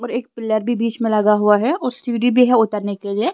और एक पिलर भी बीच में लगा हुआ हैऔर सीडी भी है उतरने के लिए--